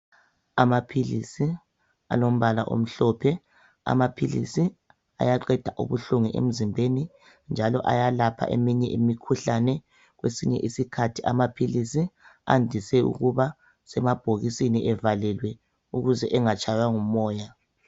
Amaphilisi alombala omhlophe . Amaphilisi ayaqeda ubuhlungu emzimbeni njalo ayalapha eminye imikhuhlane. Kwesinye isikhathi amaphilisi andise ukuba semabhokisini evalelwe ukuze engatshaywa ngumoya.